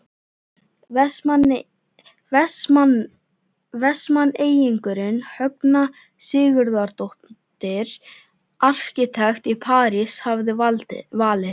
Vestmanneyingurinn Högna Sigurðardóttir arkitekt í París hafði valið.